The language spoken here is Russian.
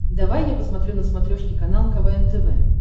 давай я посмотрю на смотрешке канал квн тв